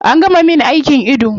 An gama min aikin ido